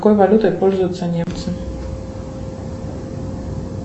какой валютой пользуются немцы